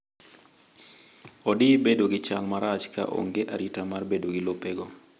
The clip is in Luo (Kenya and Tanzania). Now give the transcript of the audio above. Odi bedo gi chal marach ka onge arita mar bedo gi lopego.